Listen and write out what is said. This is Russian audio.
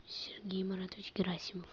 сергей маратович герасимов